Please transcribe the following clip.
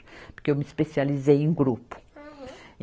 Porque eu me especializei em grupo. Aham.